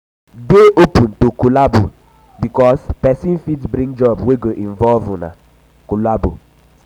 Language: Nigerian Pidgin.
dey open um to collabo um bikos pesin fit bring job wey go involve una um collabo